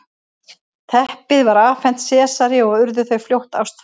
teppið var afhent sesari og urðu þau fljótt ástfangin